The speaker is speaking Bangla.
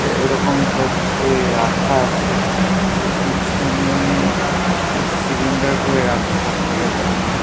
এরকম টাইপ - এর রাখা আছে। ওর পিছনে একটা সিলিন্ডার করে রাখা সবকটার পিছনে।